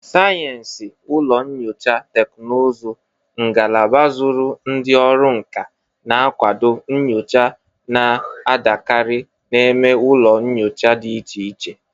Sayensị ụlọ nyocha teknụzụ ngalaba zụrụ ndị ọrụ nka na-akwado nnyocha na-adakarị eme n'ụlọ nyocha dị iche iche.